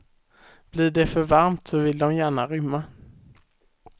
Blir det för varmt så vill de gärna rymma.